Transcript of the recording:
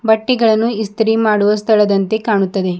ಬಟ್ಟೆಗಳನ್ನು ಇಸ್ತ್ರಿ ಮಾಡುವ ಸ್ಥಳದಂತೆ ಕಾಣುತ್ತದೆ.